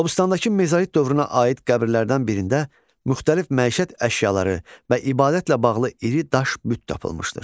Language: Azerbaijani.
Qobustandakı mezolit dövrünə aid qəbirlərdən birində müxtəlif məişət əşyaları və ibadətlə bağlı iri daş büt tapılmışdır.